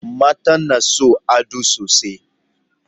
Mata na son ado sosai